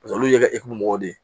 Paseke olu ye ekɔli mɔgɔw de ye